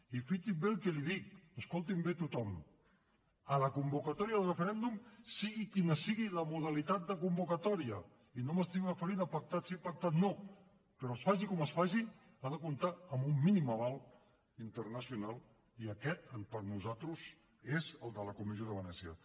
i fixin se bé en el que els dic escoltin me bé tothom a la convocatòria del referèndum sigui quina sigui la modalitat de convocatòria i no m’estic referint a pactat sí pactat no es faci com es faci ha de comptar amb un mínim aval internacional i aquest per nosaltres és el de la comissió de venècia